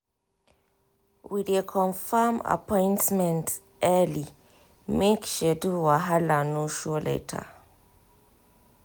we dey confirm appointment early make schedule wahala no show later.